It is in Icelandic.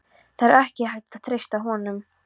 Það er ekki hægt að treysta honum.